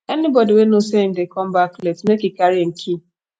anybodi wey know sey im dey come back late make e carry im key